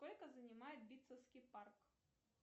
сколько занимает битцевский парк